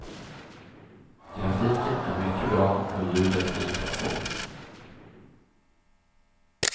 Grafiken är mycket bra och ljudet likaså.